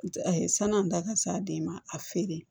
A ye sani an da ka s'a den ma a feere